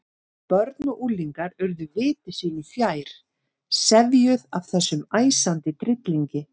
Börn og unglingar urðu viti sínu fjær, sefjuð af þessum æsandi tryllingi.